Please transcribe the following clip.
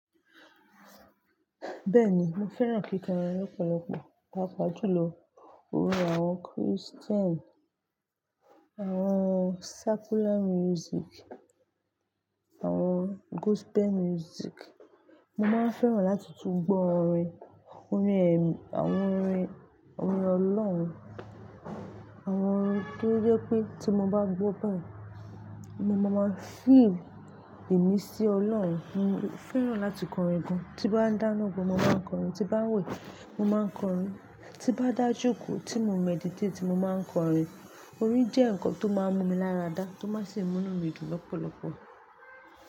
Bẹ́ẹ̀ni, mo fẹ́ràn kíkọrin lọ́pọ̀lọpọ̀, pàápàá jùlọ orin àwọn Christian, àwọn secular music, àwọn gospel music. Mo máa n fẹ́ràn láti tún gbọ orin, orin ẹ mi, àwọn orin, orin Ọlọ́run, àwọn orin tó jẹ́ pé tí mo bá gbọ́ báyìí, mo máa ma feel ìmísí Ọlọ́run. Mo fẹ́ràn láti kọrin gan. Tí n bá dáná gan mo máa n kọrin, tí n bá n wẹ̀ mo máa n kọrin, tí n bá dájòkó, tí mo n meditate mo máa n kọrin. Orin jẹ́ nǹkan tó máa n mú mi lára dá, tó máa n sì mú'nú mìdùn lọ́pọ̀lọpọ̀.